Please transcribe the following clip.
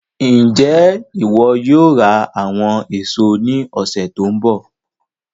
Njẹ iwọ yóò ra àwọn èso ní ọsẹ tó n bọ̀?